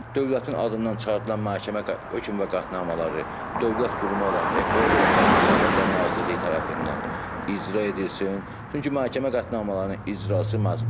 Dövlətin adından çıxarılan məhkəmə hökm və qətnamələri dövlət qurumu olan Ekologiya və Təbii Sərvətlər Nazirliyi tərəfindən icra edilsin, çünki məhkəmə qətnamələrinin icrası məcburidir.